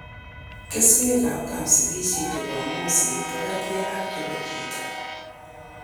Keswekab kapsigisio che bo moset ko kergei ak che bo chito.